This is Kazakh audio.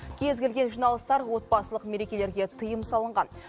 кез келген жиналыстар отбасылық мерекелерге тыйым салынған